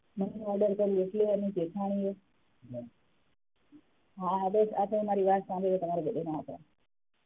money order કરીયુ એટલે એણી જેઠાણીએ હા આદર્શ આ તો અમારી વાત સાંભળીને તમારા બધાને